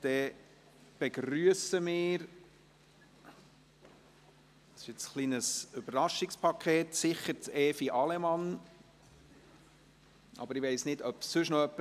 Wir begrüssen sicher Evi Allemann, aber ich weiss nicht, ob sonst noch jemand kommt.